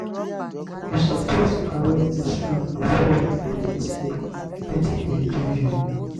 you suppose arrange dis room before una begin sleep wetin dey do you?